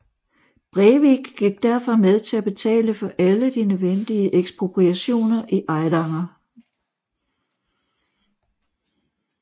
Brevik gik derfor med til at betale for alle de nødvendige ekspropriationer i Eidanger